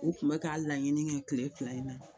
U kun bɛ k'a laɲini kɛ kile fila in na.